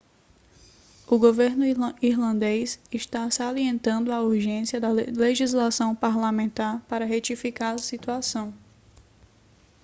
o governo irlandês está salientando a urgência da legislação parlamentar para retificar a situação